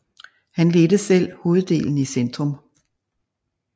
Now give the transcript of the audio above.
Han ledte selv hoveddelen i centrum